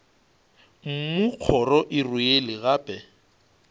mmu kgoro e rwele gape